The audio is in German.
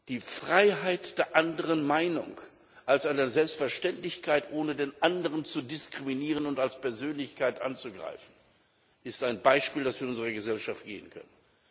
Die Freiheit der anderen Meinung als eine Selbstverständlichkeit, ohne den anderen zu diskriminieren und als Persönlichkeit anzugreifen, ist ein Beispiel, das wir unserer Gesellschaft geben können.